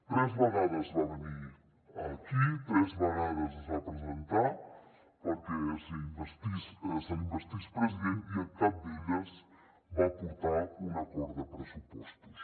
tres vegades va venir aquí tres vegades es va presentar perquè se l’investís president i en cap d’elles va portar un acord de pressupostos